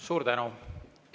Suur tänu!